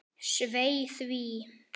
Svei því.